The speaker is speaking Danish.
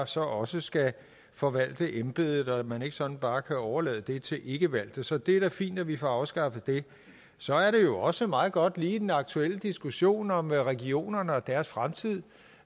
så også skal forvalte embedet og at man ikke sådan bare kan overlade det til ikkevalgte så det er da fint at vi får afskaffet det så er det jo også meget godt lige i den aktuelle diskussion om regionerne og deres fremtid